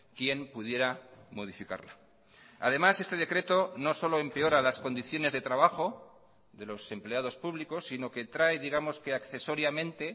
quien pudiera modificarla además este decreto no solo empeora las condiciones de trabajo de los empleados públicos sino que trae digamos que accesoriamente